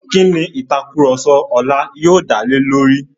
Kí ni ìtàkurọ̀sọ ọlá yóò dá lé lórí?